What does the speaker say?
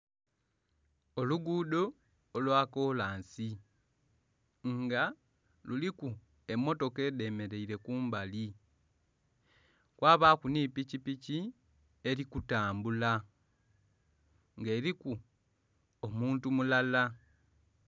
Olugudho olwa kolansi nga kuliku emotoka edhe mereire kumbali kwabaku nhi piki piki eri kutambula nga eriku omuntu mulala.